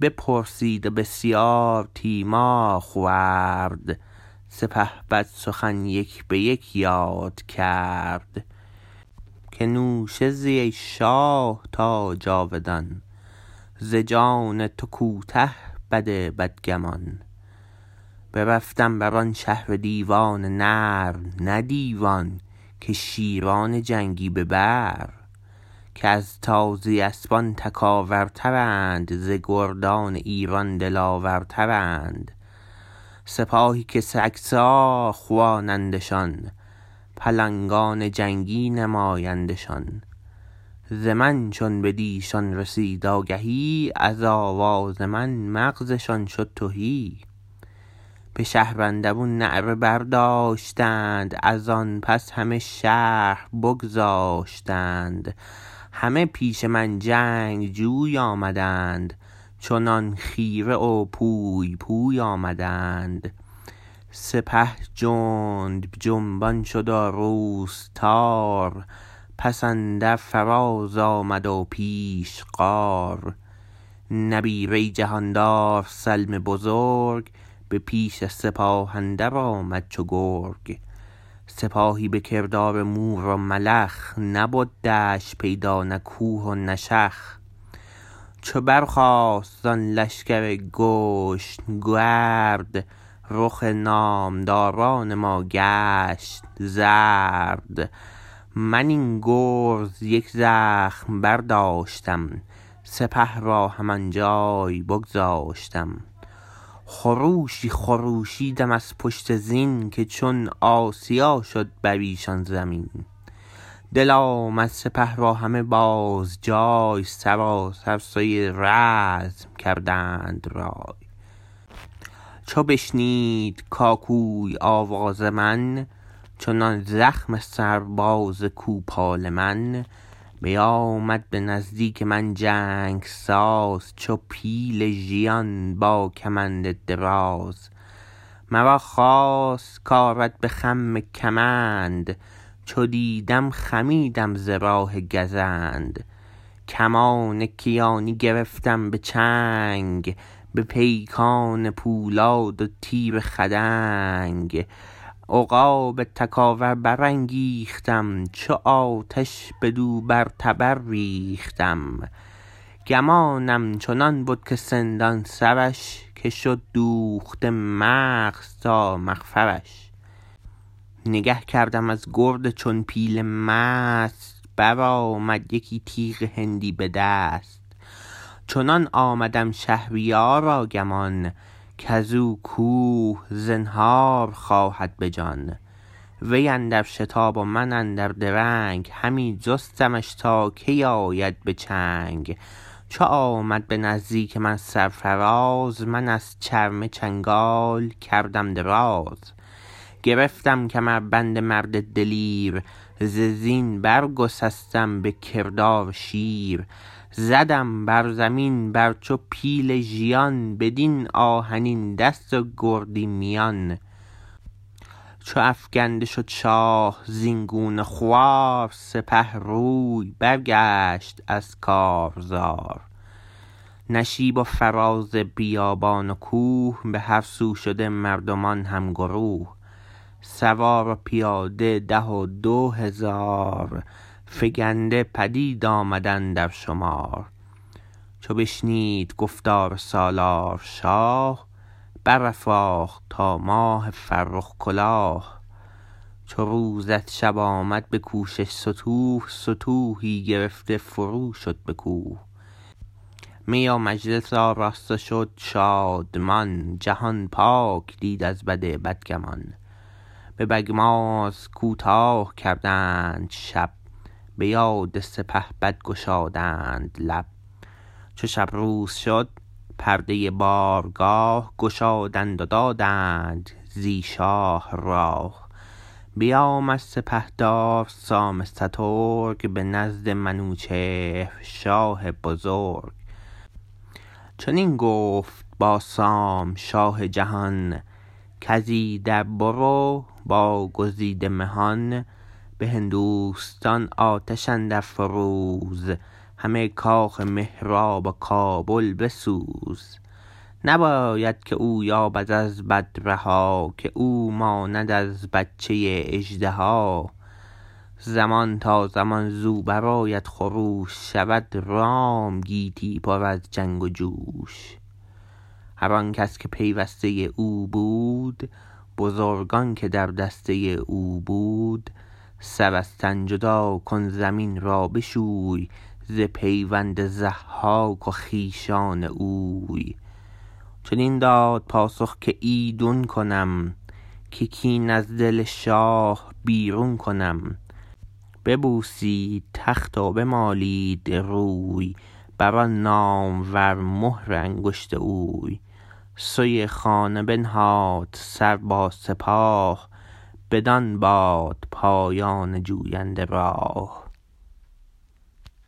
بپرسید و بسیار تیمار خورد سپهبد سخن یک به یک یاد کرد که نوشه زی ای شاه تا جاودان ز جان تو کوته بد بدگمان برفتم بران شهر دیوان نر نه دیوان که شیران جنگی به بر که از تازی اسپان تکاور ترند ز گردان ایران دلاور ترند سپاهی که سگسار خوانندشان پلنگان جنگی نمایندشان ز من چون بدیشان رسید آگهی از آواز من مغزشان شد تهی به شهر اندرون نعره برداشتند ازان پس همه شهر بگذاشتند همه پیش من جنگ جوی آمدند چنان خیره و پوی پوی آمدند سپه جنب جنبان شد و روز تار پس اندر فراز آمد و پیش غار نبیره جهاندار سلم بزرگ به پیش سپاه اندر آمد چو گرگ سپاهی به کردار مور و ملخ نبد دشت پیدا نه کوه و نه شخ چو برخاست زان لشکر گشن گرد رخ نامداران ما گشت زرد من این گرز یک زخم برداشتم سپه را هم آنجای بگذاشتم خروشی خروشیدم از پشت زین که چون آسیا شد بریشان زمین دل آمد سپه را همه بازجای سراسر سوی رزم کردند رای چو بشنید کاکوی آواز من چنان زخم سرباز کوپال من بیامد به نزدیک من جنگ ساز چو پیل ژیان با کمند دراز مرا خواست کارد به خم کمند چو دیدم خمیدم ز راه گزند کمان کیانی گرفتم به چنگ به پیکان پولاد و تیر خدنگ عقاب تکاور برانگیختم چو آتش بدو بر تبر ریختم گمانم چنان بد که سندان سرش که شد دوخته مغز تا مغفرش نگه کردم از گرد چون پیل مست برآمد یکی تیغ هندی به دست چنان آمدم شهریارا گمان کزو کوه زنهار خواهد بجان وی اندر شتاب و من اندر درنگ همی جستمش تا کی آید به چنگ چو آمد به نزدیک من سرفراز من از چرمه چنگال کردم دراز گرفتم کمربند مرد دلیر ز زین برگسستم بکردار شیر زدم بر زمین بر چو پیل ژیان بدین آهنین دست و گردی میان چو افگنده شد شاه زین گونه خوار سپه روی برگشت از کارزار نشیب و فراز بیابان و کوه به هر سو شده مردمان هم گروه سوار و پیاده ده و دو هزار فگنده پدید آمد اندر شمار چو بشنید گفتار سالار شاه برافراخت تا ماه فرخ کلاه چو روز از شب آمد بکوشش ستوه ستوهی گرفته فرو شد به کوه می و مجلس آراست و شد شادمان جهان پاک دید از بد بدگمان به بگماز کوتاه کردند شب به یاد سپهبد گشادند لب چو شب روز شد پرده بارگاه گشادند و دادند زی شاه راه بیامد سپهدار سام سترگ به نزد منوچهر شاه بزرگ چنین گفت با سام شاه جهان کز ایدر برو با گزیده مهان به هندوستان آتش اندر فروز همه کاخ مهراب و کابل بسوز نباید که او یابد از بد رها که او ماند از بچه اژدها زمان تا زمان زو برآید خروش شود رام گیتی پر از جنگ و جوش هر آنکس که پیوسته او بود بزرگان که در دسته او بود سر از تن جدا کن زمین را بشوی ز پیوند ضحاک و خویشان اوی چنین داد پاسخ که ایدون کنم که کین از دل شاه بیرون کنم ببوسید تخت و بمالید روی بران نامور مهر انگشت اوی سوی خانه بنهاد سر با سپاه بدان باد پایان جوینده راه